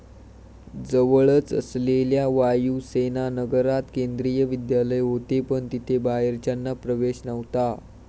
जवळच असलेल्या वायूसेनानगरात केंद्रीय विद्यालय होते, पण तिथे बाहेरच्यांना प्रवेश नव्हता.